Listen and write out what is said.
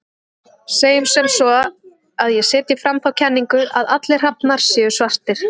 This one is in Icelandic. Segjum sem svo að ég setji fram þá kenningu að allir hrafnar séu svartir.